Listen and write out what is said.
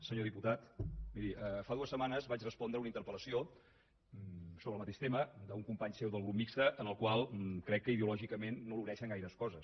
senyor diputat miri fa dues setmanes vaig respondre una interpel·lació sobre el mateix tema d’un company seu del grup mixt amb el qual crec que ideològicament no l’uneixen gaires coses